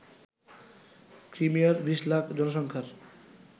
ক্রিমিয়ার ২০ লাখ জনসংখ্যার